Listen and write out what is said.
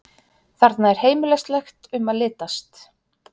Þarna er heimilislegt um að litast.